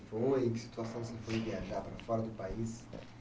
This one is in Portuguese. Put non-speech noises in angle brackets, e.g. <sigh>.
<unintelligible> situação que você foi viajar para fora do país